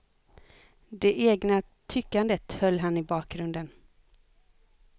Det egna tyckandet höll han i bakgrunden.